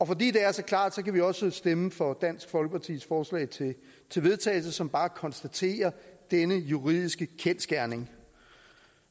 fordi det er så klart kan vi også stemme for dansk folkepartis forslag til vedtagelse som bare konstaterer denne juridiske kendsgerning